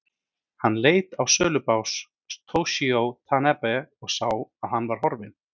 Hann leit á sölubás Toshizo Tanabe og sá að hann var horfinn.